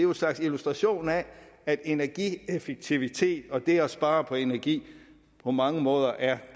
en slags illustration af at energieffektivitet og det at spare på energi på mange måder er